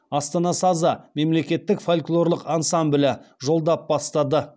астана сазы мемлекеттік фольклорлық ансамблі жолдап бастады